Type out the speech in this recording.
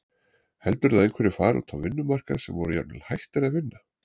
Heldurðu að einhverjir fari út á vinnumarkað sem voru jafnvel hættir að vinna?